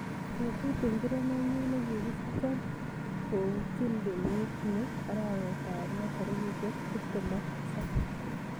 Betut ngiro nenyun negigisicho koputchini kenyit niti arawetab loo tarikishek tuptem ak tisap